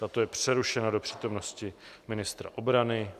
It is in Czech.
Tato je přerušena do přítomnosti ministra obrany.